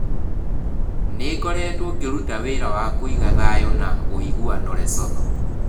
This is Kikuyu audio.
Nĩ ngoretwo ngĩruta wĩra wa kũiga thayũ na ũiguano Lesotho.